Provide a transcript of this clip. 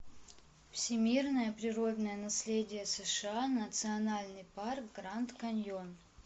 всемирное природное наследие сша национальный парк гранд каньон